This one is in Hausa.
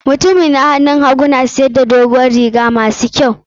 Mutanmin na da ga hagu na siyar da dogon riguna ma su kyau.